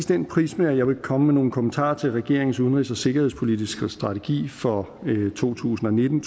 den prisme at jeg vil komme med nogle kommentarer til regeringens udenrigs og sikkerhedspolitiske strategi for to tusind og nitten